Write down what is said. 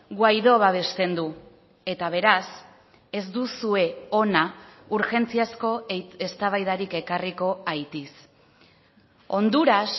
guaidó babesten du eta beraz ez duzue hona urgentziazko eztabaidarik ekarriko haitiz honduras